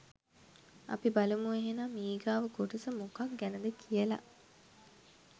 අපි බලමු එහෙනම් ඊගාව කොටස මොකක් ගැනද කියලා